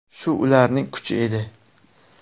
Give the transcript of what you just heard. Shu ularning kuchi edi.